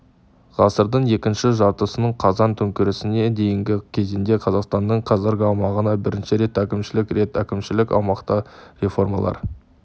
ғасырдың екінші жартысынан қазан төңкерісіне дейінгі кезеңде қазақстанның қазіргі аумағына бірнеше рет әкімшілік рет әкімшілік-аумақтық реформалар